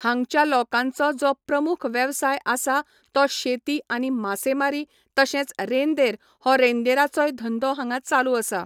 हांगच्या लोकांचो जो प्रमूख वेवसाय आसा तो शेती आनी मासेमारी तशेंच रेंदेर हो रेंदेराचोय धंदो हांगां चालू आसा